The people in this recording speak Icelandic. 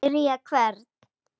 Spyrja hvern?